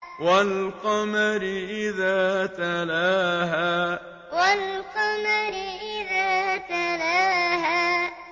وَالْقَمَرِ إِذَا تَلَاهَا وَالْقَمَرِ إِذَا تَلَاهَا